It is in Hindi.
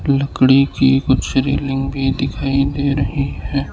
लकड़ी की कुछ रेलिंग भी दिखाई दे रही है।